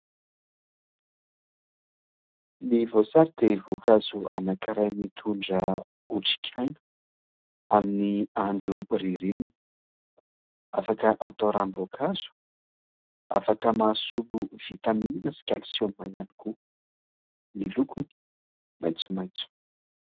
Ny voasary dia voankazo anankiray mitondra otrikaina amin'ny andro ririnina. Afaka atao ranom-boankazo, afaka mahasolo vitamina sy "calcium" ihany koa. Ny lokony maitsomaitso.